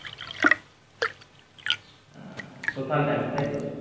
হম social dance তাই তো